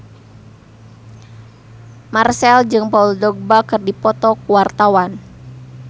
Marchell jeung Paul Dogba keur dipoto ku wartawan